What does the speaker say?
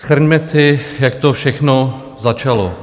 Shrňme si, jak to všechno začalo.